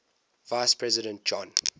vice president john